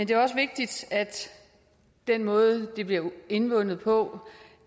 det er også vigtigt at den måde det bliver indvundet på